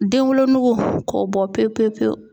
Den wolonugu k'o bɔ pewu pewu pewu.